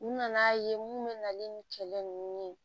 U nana'a ye mun bɛ na ni kɛlɛ nunnu ye